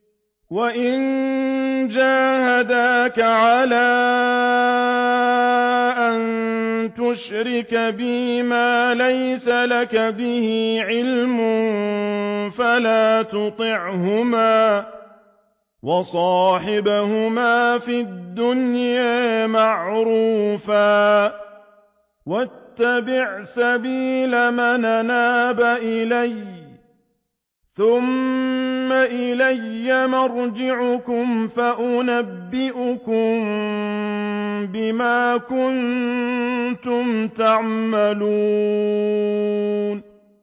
وَإِن جَاهَدَاكَ عَلَىٰ أَن تُشْرِكَ بِي مَا لَيْسَ لَكَ بِهِ عِلْمٌ فَلَا تُطِعْهُمَا ۖ وَصَاحِبْهُمَا فِي الدُّنْيَا مَعْرُوفًا ۖ وَاتَّبِعْ سَبِيلَ مَنْ أَنَابَ إِلَيَّ ۚ ثُمَّ إِلَيَّ مَرْجِعُكُمْ فَأُنَبِّئُكُم بِمَا كُنتُمْ تَعْمَلُونَ